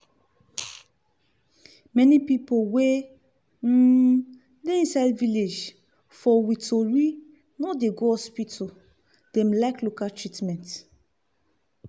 many pipu wey um dey inside village for we kontri no dey like go hospital dem like local treatment.